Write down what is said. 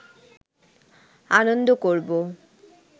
আনন্দ করব